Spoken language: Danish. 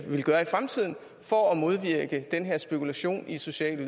vil gøre i fremtiden for at modvirke den her spekulation i sociale